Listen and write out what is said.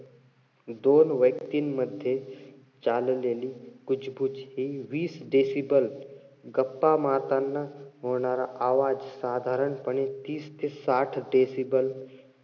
दोन व्यक्तींमध्ये चाललेली हि वीस decible, गप्पा मारताना होणार आवाज, साधारणपणे तीस ते साठ decible,